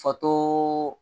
Fato